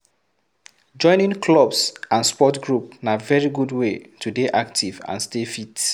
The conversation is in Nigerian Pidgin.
Joining clubs and sport group na very good wey to dey active and stay fit